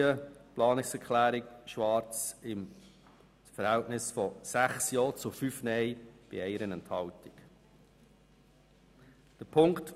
Die Planungserklärung Schwarz wird mit dem Verhältnis von 6 Ja- zu 5 Nein-Stimmen bei 1 Enthaltung unterstützt.